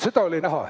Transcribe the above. Seda oli näha.